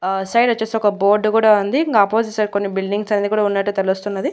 ఆ సైడ్ వచ్చేసి ఒక బోర్డు కూడా ఉంది ఇంగా ఆపోజిట్ సైడ్ కొన్ని బిల్డింగ్స్ అనేది కూడా ఉన్నట్టు తెలుస్తున్నది.